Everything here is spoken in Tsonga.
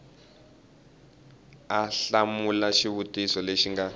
u hlamula xivutiso lexi nga